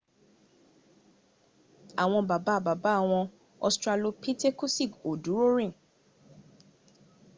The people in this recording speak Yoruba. àwọn bàbá bàbá wọn ostralopitekusi ò dúró rìn